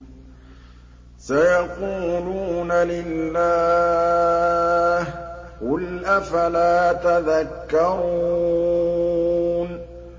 سَيَقُولُونَ لِلَّهِ ۚ قُلْ أَفَلَا تَذَكَّرُونَ